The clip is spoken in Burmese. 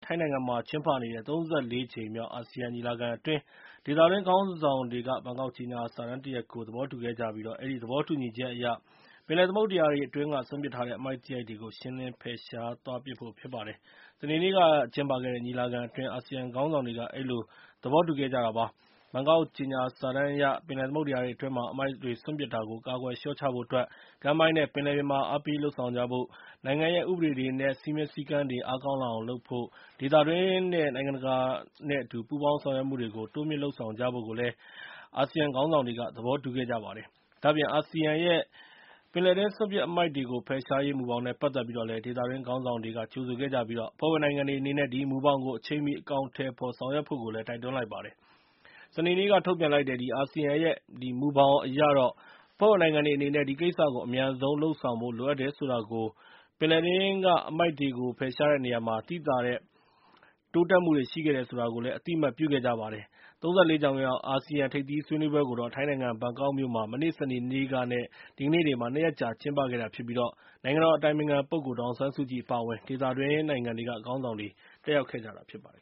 ိုင်းနိုင်ငံမှာကျင်းပနေတဲ့ ၃၄ ကြိမ်မြောက် အာဆီယံ ညီလာခံအတွင်း ဒေသတွင်း နိုင်ငံခေါင်းဆောင် တွေက ဘန်ကောက်ကြေညာစာတမ်း တရပ်ကို သဘောတူခဲ့ကြပြီး၊ အဲဒီသဘောတူညီချက်အရ ပင်လယ်သမုဒ္ဒရာတွေ အတွင်းက စွန့်ပစ်ထားတဲ့ အမှိုက်သရိုက်တွေကို ရှင်းလင်း ဖယ်ရှားသွားဖို့ဖြစ်ပါတယ်။ စနေနေ့က ကျင်းပခဲ့တဲ့ ညီလာခံအတွင်း အာဆီယံခေါင်းဆောင်တွေက အဲဒီလို သဘောတူခဲ့ကြတာဖြစ်ပါတယ်။ ဘန်ကောက်ကြေညာစာတမ်း အရ၊ ပင်လယ်သမုဒ္ဒရာတွေအတွင်းမှာ အမှိုက်တွေစွန့်ပစ်တာကို ကာကွယ်လျှော့ချဖိုအတွက် ကမ်းပိုင်း နဲ့ ပင်လယ်ပြင်မှာ အားပေး လုပ်ဆောင်ဖို့၊ နိုင်ငံရဲ့ ဥပဒေတွေ နဲ့ စည်းမျဉ်းစည်းကမ်းတွေ အားကောင်း လာအောင်လုပ်ဖို့ နဲ့ ဒေသတွင်း နဲ့ နိုင်ငံတကာပူးပေါင်းဆောင်ရွက်မှုတွေကို တိုးမြှင့်လုပ်ဆောင်ကြဖို့ကို အာဆီယံခေါင်းဆောင်တွေက သဘောတူခဲ့ကြပါတယ်။ ဒါ့အပြင် အာဆီယံရဲ့ ပင်လယ်တွင်း စွန့်ပစ်အမှိုက်တွေကို ဖယ်ရှားရေး မူဘောင်နဲ့ ပတ်သက်ပြီး ဒေသတွင်း ခေါင်းဆောင်တွေက ကြိုဆိုခဲ့ကြပြီး၊ အဖွဲ့ဝင်နိုင်ငံတွေအနေနဲ့ ဒီမူဘောင်ကို အချိန်မီ အကောင်အထည် ဖော်ဆောင်ရွက်ဖို့ကိုလည်း တိုက်တွန်း လိုက်ပါတယ်။ စနေနေ့က ထုတ်ပြန်လိုက်တဲ့ အာဆီယံရဲ့ အဲဒီမူဘောင်အရ အဖွဲ့ဝင်နိုင်ငံတွေ အနေနဲ့ ဒီကိစ္စကို အမြန်ဆုံးလုပ်ဆောင်ဖို့ လိုအပ်တယ်ဆိုတာနဲ့ ပင်လယ်တွင်းက အမှိုက်တွေကို ဖယ်ရှားတဲ့နေရာမှာ သိသာတဲ့ တိုးတက်မှုတွေ ရှိခဲ့တယ်ဆိုတာကို အသိအမှတ် ပြုခဲ့ကြပါတယ်။ ၃၄ ကြိမ်မြောက် အာဆီယံထိပ်သီးဆွေးနွေးပွဲကိုတော့ ထိုင်းနိုင်ငံဘန်ကောက်မြို့မှာ မနေ့ စနေနေ့က နဲ့ ဒီကနေ့တွေမှာ ၂ ရက်ကြာ ကျင်းပခဲ့တာဖြစ်ပြီး၊ နိုင်ငံတော် အတိုင်ပင်ခံပုဂ္ဂိုလ် ဒေါ်အောင်ဆန်းစုကြည် အပါအဝင် ဒေသတွင်းနိုင်ငံတွေက ခေါင်းဆောင်တွေ တက်ရောက်ခဲ့ကြတာဖြစ်ပါတယ်